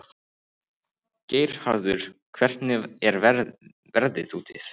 Geirharður, hvernig er veðrið úti?